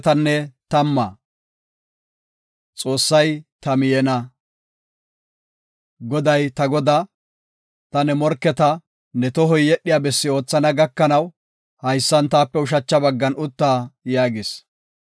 Goday ta godaa, “Ta ne morketa ne tohoy yedhiya bessi oothana gakanaw, haysan taape ushacha baggan utta” yaagis.